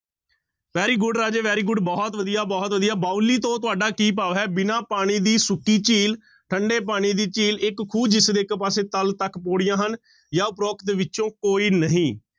Very good Raje very good ਬਹੁਤ ਵਧੀਆ, ਬਹੁਤ ਵਧੀਆ ਬਾਉਲੀ ਤੋਂ ਤੁਹਾਡਾ ਕੀ ਭਾਵ ਹੈ, ਬਿਨਾਂ ਪਾਣੀ ਦੀ ਸੁੱਕੀ ਝੀਲ, ਠੰਢੇ ਪਾਣੀ ਦੀ ਝੀਲ, ਇੱਕ ਖੂਹ ਜਿਸਦੇ ਇੱਕ ਪਾਸੇ ਤਲ ਤੱਕ ਪਾਉੜੀਆਂ ਹਨ ਜਾਂ ਉਪਰੋਕਤ ਵਿੱਚੋਂ ਕੋਈ ਨਹੀਂ।